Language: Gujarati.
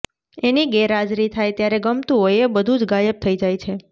એની ગેરહાજરી થાય ત્યારે ગમતું હોય એ બધું જ ગાયબ થઈ જાય છે